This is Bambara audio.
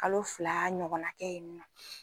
Kalo fila ɲɔgɔna kɛ yen nɔ